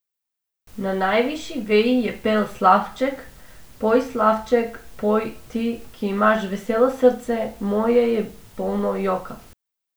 Na najvišji veji je pel slavček, poj slavček, poj, ti, ki imaš veselo srce, moje je polno joka.